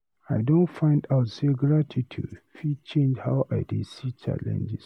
I don find out say gratitude fit change how I dey see challenges.